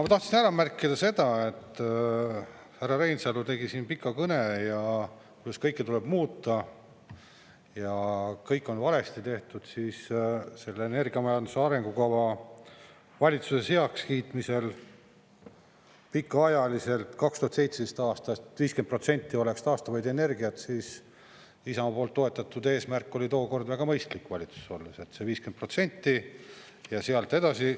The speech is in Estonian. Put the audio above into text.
Ma tahtsin ära märkida seda, et härra Reinsalu tegi siin pika kõne ja kuidas kõike tuleb muuta ja kõik on valesti tehtud, aga elle energiamajanduse arengukava valitsuses heakskiitmisel pikaajaliselt 2017. aastast, et 50% oleks taastuvaid energiaid, siis Isamaa poolt toetatud eesmärk oli tookord väga mõistlik valitsuses olles, et see 50% ja sealt edasi.